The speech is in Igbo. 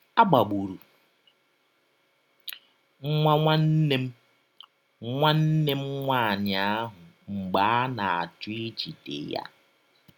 A gbagbụrụ nwa nwanne m nwanne m nwaanyị ahụ mgbe a na - achọ ijide ya.